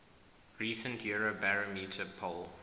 recent eurobarometer poll